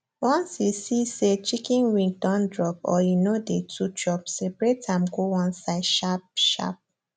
once you see say chicken wing don drop or e no dey too chop seperate am go one side sharp sharp